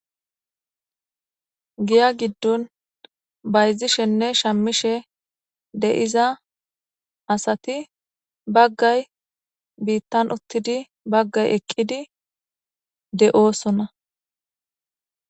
giya giddon bayzishenne shamishe de7iza asati baggay biittan uttidi baggay eqqidi de7oosona